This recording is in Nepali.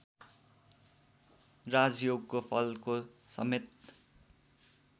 राजयोगको फलको समेत